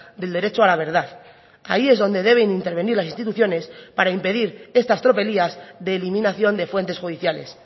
del derecho a la verdad ahí es donde deben intervenir las instituciones para impedir estas tropelías de eliminación de fuentes judiciales